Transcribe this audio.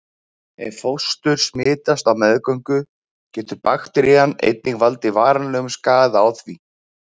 Ef fóstur smitast á meðgöngu getur bakterían einnig valdið varanlegum skaða á því.